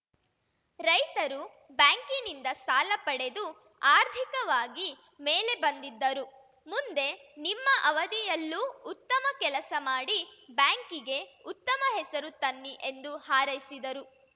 ರೈತರು ಬ್ಯಾಂಕಿನಿಂದ ಸಾಲ ಪಡೆದು ಆರ್ಥಿಕವಾಗಿ ಮೇಲೆ ಬಂದಿದ್ದರು ಮುಂದೆ ನಿಮ್ಮ ಅವಧಿಯಲ್ಲೂ ಉತ್ತಮ ಕೆಲಸ ಮಾಡಿ ಬ್ಯಾಂಕಿಗೆ ಉತ್ತಮ ಹೆಸರು ತನ್ನಿ ಎಂದು ಹಾರೈಸಿದರು